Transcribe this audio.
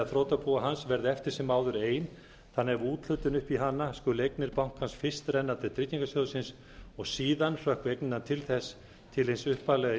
þrotabúi hans verði eftir sem áður ein þannig að við úthlutun upp í hana skuli eignir bankans fyrst renna til tryggingarsjóðsins og síðan hrökkvi eignirnar til þess til hins upphaflega